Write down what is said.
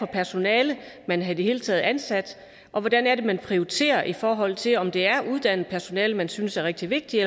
personale man i det hele taget har ansat og hvordan det er man prioriterer i forhold til om det er uddannet personale man synes er rigtig vigtigt